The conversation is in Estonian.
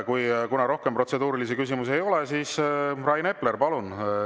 Kuna rohkem protseduurilisi küsimusi ei ole, siis, Rain Epler, palun!